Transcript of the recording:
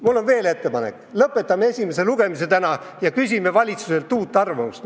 Mul on veel ettepanek: lõpetame esimese lugemise täna ära ja küsime valitsuselt uut arvamust.